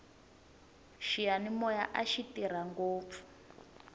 xiyanimoya axi tirha ngopfu